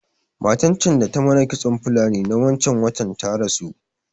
Matan can da ta mana kitson Fulani na wancan watan ta rasu